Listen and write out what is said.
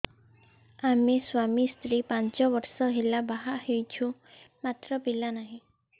ଆମେ ସ୍ୱାମୀ ସ୍ତ୍ରୀ ପାଞ୍ଚ ବର୍ଷ ହେଲା ବାହା ହେଇଛୁ ମାତ୍ର ପିଲା ନାହିଁ